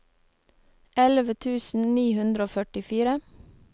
elleve tusen ni hundre og førtifire